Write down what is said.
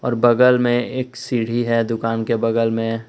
और बगल में एक सीढ़ी है दुकान के बगल में--